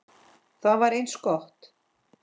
Það var eins gott!